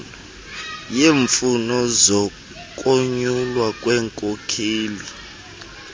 yeemfuno zokunyulwa kwenkokheli